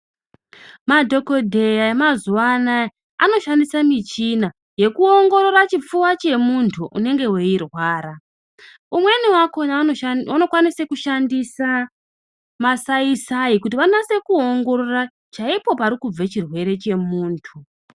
Madhokodheya emazuwa anaya, anoshandise michina yekuongorora chipfuwa chemuntu unenge weirwara. Umweni wakhona anokwanisa kushandisa masaisai kuti vanase kuongorora chaipo parikubve chirwere chemuntu.